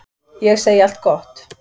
Ég segi allt gott.